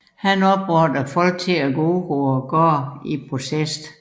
Han opfordrede folk til at gå ud på gaderne i protest